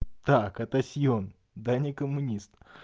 так это сион да не коммунист